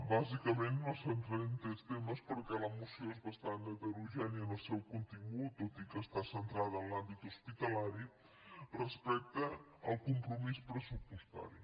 bàsicament em centraré en tres temes perquè la moció és bastant heterogènia en el seu contingut tot i que està centrada en l’àmbit hospitalari respecte al compromís pressupostari